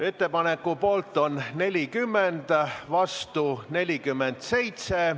Ettepaneku poolt on 40, vastu 47 Riigikogu liiget.